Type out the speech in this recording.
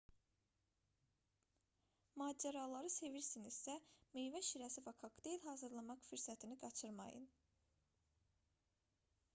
macəraları sevirsinizsə meyvə şirəsi və kokteyl hazırlamaq fürsətini qaçırmayın